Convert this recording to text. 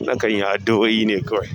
Nakan yi addu'oine kawai.